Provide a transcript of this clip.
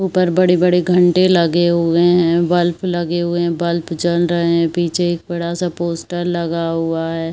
ऊपर बड़े-बड़े घण्टे लगे हुए हैं। बल्ब लगे हुए हैं। बल्ब जल रहे हैं। पीछे एक बड़ा सा पोस्टर लगा हुआ है।